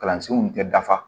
Kalansenw tɛ dafa